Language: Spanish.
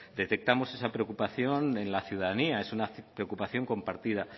detectamos esa preocupación en la ciudadanía es una preocupación compartida